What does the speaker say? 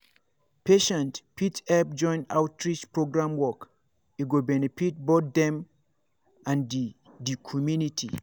patients fit help join outreach program work e go benefit both dem and di community.